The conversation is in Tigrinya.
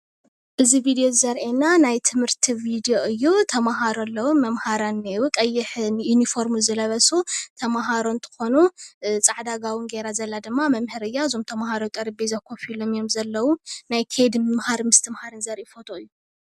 እዚ ቪድዮ እዚ ዘርእየና ናይ ትምህርቲ ቪድዮ እዩ ተመሃሮ ኣለዉ፡፡ መምሃራን እኔእዉ ቀይሕ ዩኒፎርም ዝለበሱ ተመሃሮ እንትኾኑ ፃዕዳ ጋቦን ገይራ ዘላ ድማ መምህር እያ፡፡ እዞም ተመሃሮ ኣብ ጠረጴዛ ኮፍ ኢሎም እዮም ዘለዉ፡፡ ናይ ከይዲ ምምሃር ምስትምሃር ዘርኢ ፎቶ እዩ፡፡